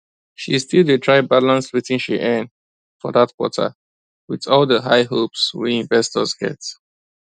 she still dey try balance wetin she earn for that quarter with all the high hopes wey investors get